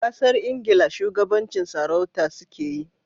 Kasar Ingila shugabancin sarauta su ke yi